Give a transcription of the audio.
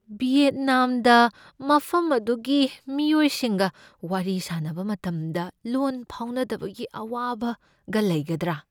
ꯚꯤꯌꯦꯠꯅꯥꯝꯗ ꯃꯐꯝ ꯑꯗꯨꯒꯤ ꯃꯤꯑꯣꯏꯁꯤꯡꯒ ꯋꯥꯔꯤ ꯁꯥꯅꯕ ꯃꯇꯝꯗ ꯂꯣꯟ ꯐꯥꯎꯅꯗꯕꯒꯤ ꯑꯋꯥꯕꯒ ꯂꯩꯒꯗ꯭ꯔꯥ?